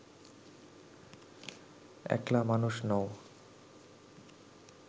একলা মানুষ নও